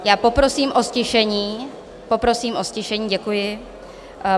Já poprosím o ztišení, poprosím o ztišení, děkuji.